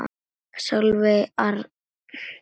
Sólveig Arndís.